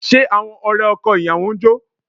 Ṣé àwọn ọ̀rẹ́ ọkọ ìyàwó ń jó?